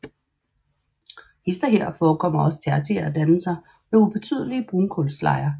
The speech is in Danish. Hist og her forekommer også tertiære dannelser med ubetydelige brunkulslejer